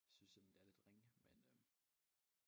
Synes simpelthen det er lidt ringe men øh